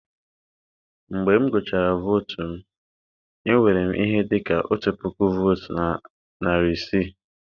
Mgbe m gụchara votu m, enwere m ihe dị ka otu puku votes na narị isii.